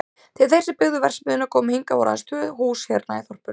Þegar þeir sem byggðu verksmiðjuna komu hingað voru aðeins tvö hús hérna í þorpinu.